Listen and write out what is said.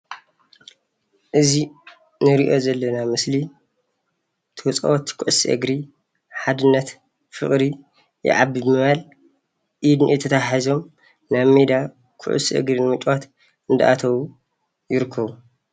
እዚ እንሪኦ ዘለና ምስሊ ተፃወትቲ ኩዕሶ እግሪ ሓድነት ፍቅሪ ይዓቢ ብምባል ኢድ ንኢድ ተተሓሒዞም ናብ ሜዳ ኩዕሶ እግሪ ንምጭዋት እንዳኣተዉ ይርከቡ፡፡